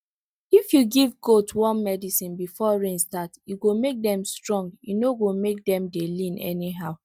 if you give goat worm medicine before rain start e go make dem strong e no go make dem dey lean anyhow